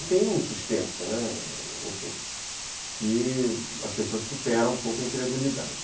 E tem um suspense, né, enfim, que as pessoas superam um pouco a incredulidade.